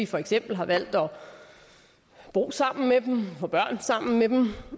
for eksempel har valgt at bo sammen med dem få børn sammen med dem